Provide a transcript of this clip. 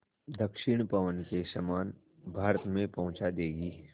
दक्षिण पवन के समान भारत में पहुँचा देंगी